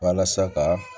Walasa ka